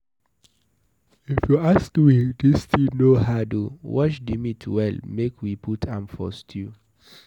If you ask me, dis thing no hard oo, wash the meat well make we put a for stew